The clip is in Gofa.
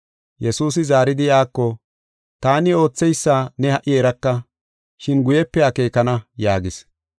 Yesuusi zaaridi iyako, “Taani ootheysa ne ha77i eraka, shin guyepe akeekana” yaagis.